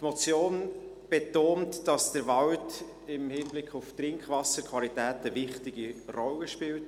Die Motion betont, dass der Wald im Hinblick auf die Trinkwasserqualität eine wichtige Rolle spielt.